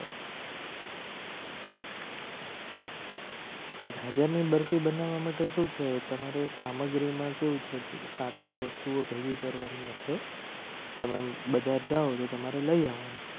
રાજા ની બરફી બનાવવા માટે શું છે. તમારે સામગ્રીમાં કેવું છે. સાત આઠ વસ્તુઓ ભેગી કરવાની હશે. તમે બજાર જાઓ તો તમારે લઈ આવવાનું